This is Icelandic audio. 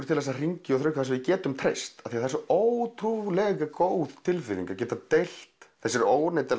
til hringi þar sem við getum treyst því það er svo ótrúlega góð tilfinning að geta treyst þessari